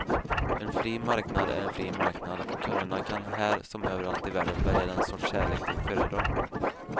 En fri marknad är en fri marknad och kunderna kan här som överallt i världen välja den sorts kärlek de föredrar.